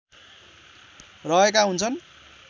रहेका हुन्छन्